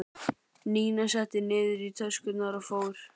Nína setti niður í töskur og fór.